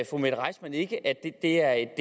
fru mette reissmann ikke at det er